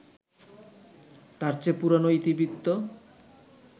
তার চেয়ে পুরনো ইতিবৃত্ত